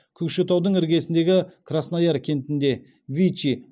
көкшетаудың іргесіндегі краснояр кентінде вичи